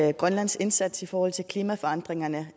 at grønlands indsats i forhold til klimaforandringerne